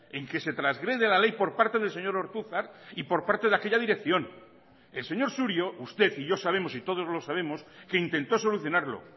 en que se trasgrede la ley por parte del señor ortuzar y por parte de aquella dirección el señor surio usted y yo sabemos y todos lo sabemos que intentó solucionarlo